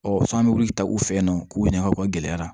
Ɔ san bɛ wuli ka u fɛ yen nɔ k'u ɲininka o gɛlɛyara